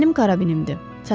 Mənim karabinimdir.